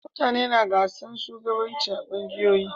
Mutane na gasan shugabanci a ƙungiyoyi.